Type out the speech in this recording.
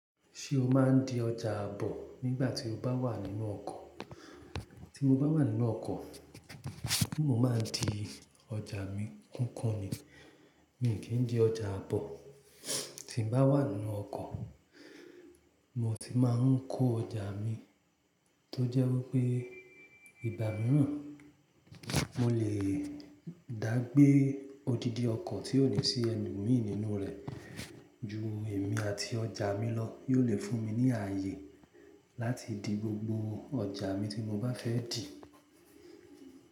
Ṣé o máa ń di ọjà àbọ̀ nígbà tí o bá wà nínú ọkọ̀? Tí mo bá wà nínú ọkọ̀, mo máa n di ọjà mi? Nkan kan ni pe mio kii di oja aabo tí mo bá wà nínú ọkọ̀, mo tì máa ń kó ọjà mi tó jẹ́ wípé ìgbà mìíràn mo lè dá gbé odidi ọkọ̀ tí ò ní sí elomii nínú rẹ̀ ju èmi àti ọjà mi lọ yóò lè fún mi ní ààyè láti di gbogbo ọjà mi tí mo bá fẹ́ dì.